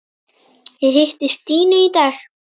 Ég hitti Stínu í dag.